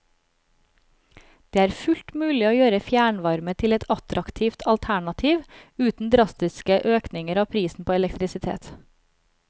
Det er fullt mulig å gjøre fjernvarme til et attraktivt alternativ uten drastiske økninger av prisen på elektrisitet.